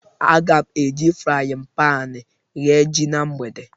Aga m eji frayịn panị eghe ji na mgbede.